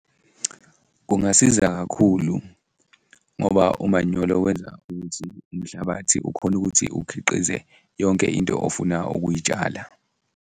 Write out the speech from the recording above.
Kungasiza kakhulu ngoba umanyolo wenza ukuthi umhlabathi ukhone ukuthi ukhiqize yonke into ofuna ukuyitshala.